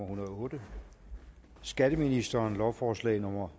hundrede og otte skatteministeren lovforslag nummer